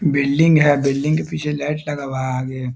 Building है । Building के पीछे लाइट लगा हुआ है । आगे--